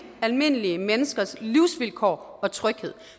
almindelige menneskers livsvilkår og tryghed